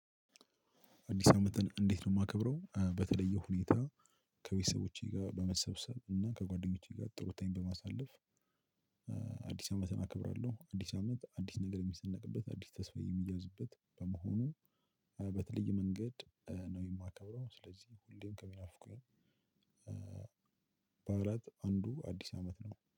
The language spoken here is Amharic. አዲስ አመትን እንዴት ነው የማከብረው በተለየ ሁኔታ ከቤተሰቦቼ ጋር በመሰብሰብ እና ከጓደኞቼ ጋር ጥሩ ታይም በማሳለፍ። አዲስ አመትን አከብራለሁ አዲስ አመት አዲስ ነገር የሚሰነቅበት አዲስ ተስፋ የሚያዝበት በመሆኑ። በተለየ መንገድ ነው የማከብረው። ስለዚህ ሁሌም ከሚናፍቁኝ በዓላት አንዱ አዲስ አመት ነው